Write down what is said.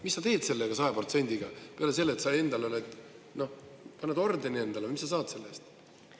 Mis sa teed sellega 100%-ga, peale selle, et sa endale saad ordeni, aga mis sa saad selle eest?